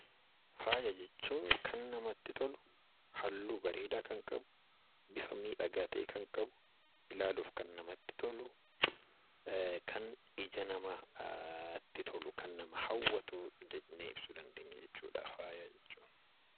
Faaya jechuun kan namatti tolu halluu bareedaa ilaaluuf kan namatti tolu kan ija namaatti hawwatu jennee ibsuu dandeenya.